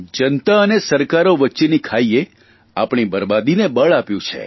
જનતા અને સરકારો વચ્ચેની ખાઇએ આપણી બરબાદીને બળ આપ્યું છે